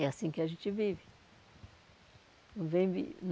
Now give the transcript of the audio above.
É assim que a gente vive. Vive